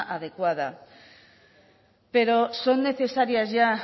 adecuada pero son necesarias ya